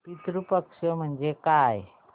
पितृ पक्ष म्हणजे काय